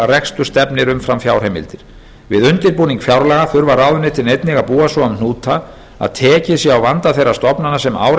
rekstur stefnir umfram fjárheimildir við undirbúning fjárlaga þurfa ráðuneytin einnig að búa svo um hnúta að tekið sé á vanda þeirra stofnana sem ár